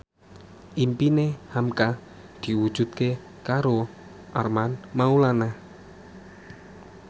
impine hamka diwujudke karo Armand Maulana